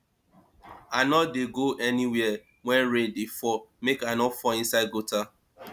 i no dey go anywhere wen rain dey fall make i no fall inside gutter